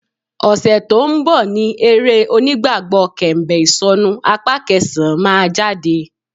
Ọ̀sẹ̀ tó ń bọ̀ ni eré onígbàgbọ́ Kẹ̀m̀bẹ̀ Ìsọ̀nu apá kẹsàn-án máa jáde